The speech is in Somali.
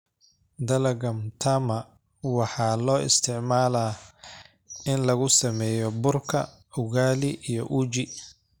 Dalagga mtama waxaa loo isticmaalaa in lagu sameeyo burka ugali iyo uji.